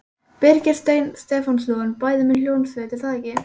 Birgir Steinn Stefánsson: Bæði með hljómsveit er það ekki?